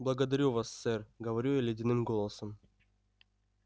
благодарю вас сэр говорю я ледяным голосом